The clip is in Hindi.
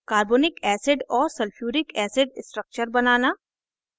carbonic acid और sulphuric acid structures बनाना